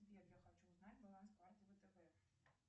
сбер я хочу узнать баланс карты втб